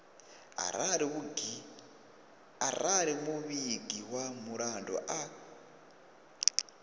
arali muvhigi wa mulandu a